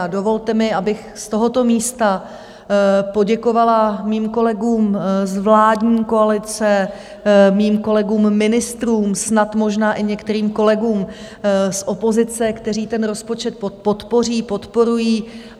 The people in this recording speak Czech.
A dovolte mi, abych z tohoto místa poděkovala svým kolegům z vládní koalice, svým kolegům ministrům, snad možná i některým kolegům z opozice, kteří ten rozpočet podpoří, podporují.